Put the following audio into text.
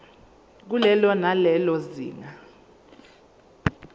kulelo nalelo zinga